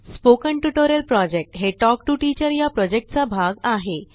spoken tutorial project हे talk to teacher या प्रॉजेक्टचा भाग आहे